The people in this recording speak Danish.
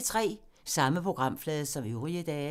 Samme programflade som øvrige dage